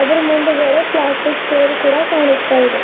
ಆದ್ರು ಮುಂದುಗಡೆ plastic chair ಕೂಡ ಕಾಣಿಸ್ತಾ ಇದೆ.